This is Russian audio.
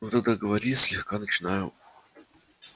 ну тогда говори слегка начинаю